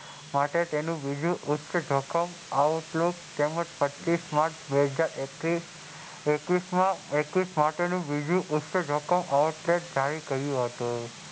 માટે તેનું ઉચ્ચ જોખમ આવું માટે પેચીસ માર્ચ એકવીસ માટેનું ઉચ્ચ જોખમ જાહેર કર્યું હતું.